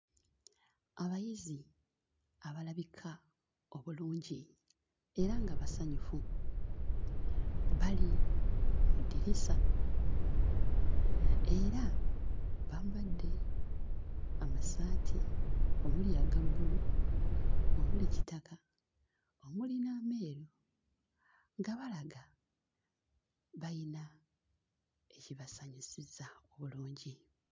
Abayizi abalabika obulungi era nga basanyufu bali mu ddirisa era bambadde amasaati omuli aga bbulu, omuli kitaka, omuli n'ameeru nga balaga bayina ekibasanyusizza bulungi.